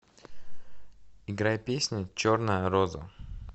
играй песня черная роза